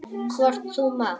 Hvort þú mátt.